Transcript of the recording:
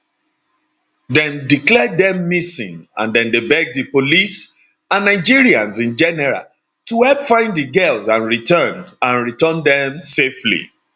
dem declare dem missing and dem dey beg di police and nigerians in general to help find di girls and return and return dem safely